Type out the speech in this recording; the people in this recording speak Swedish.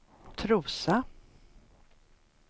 Trosa